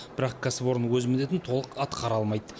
бірақ кәсіпорын өз міндетін толық атқара алмайды